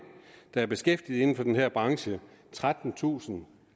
der er beskæftiget inden for den her branche trettentusind